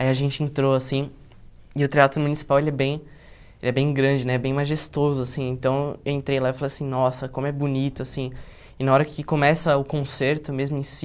Aí a gente entrou assim, e o teatro municipal ele é bem ele é bem grande né, bem majestoso assim, então eu entrei lá e falei assim, nossa, como é bonito assim, e na hora que começa o concerto mesmo em si,